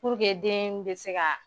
deen be se ka